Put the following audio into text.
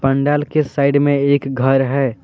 पंडाल के साइड में एक घर है।